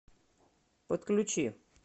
подключи